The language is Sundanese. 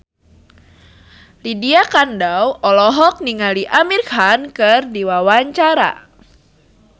Lydia Kandou olohok ningali Amir Khan keur diwawancara